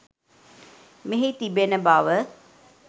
මෙහි තිබෙන බව